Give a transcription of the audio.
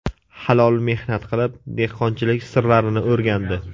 Halol mehnat qilib, dehqonchilik sirlarini o‘rgandi.